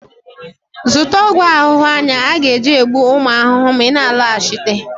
zụta ọgwụ ahụhụ anyị ga-eji gbuo ụmụ ahụhụ ma ị na-alọghachite